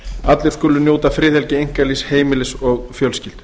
allir skulu njóta friðhelgi einkalífs heimilis og fjölskyldu